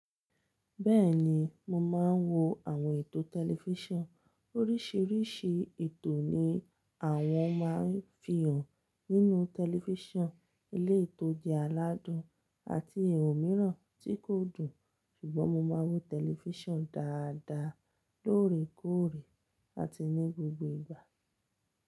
Bẹ́ẹ̀ni, mo máa ń wo àwọn ètò tẹlifíṣàn. Oríṣìíríṣìí ètò ni àwọn máa ń fi hàn nínú tẹlifíṣàn. Ilé ìt'ọ́je aládùn àti èrò mìíràn tí kò dùn, ṣùgbọ́n mo máa ń wo tẹlifíṣàn dáadáa, lóòrèkóòrè àti ní gbogbo ìgbà.